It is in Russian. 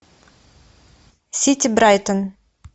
сити брайтон